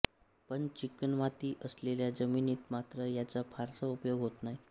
पण चिकणमाती असलेल्या जमिनीत मात्र याचा फारसा उपयोग होत नाही